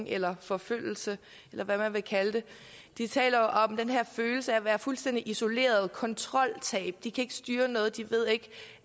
eller forfølgelse eller hvad man vil kalde det taler jo om den her følelse af at være fuldstændig isoleret kontroltab de kan ikke styre noget de ved ikke